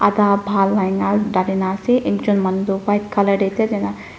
ekta bhahar dalina ase ekjun manu tu white colour teh ite jaina.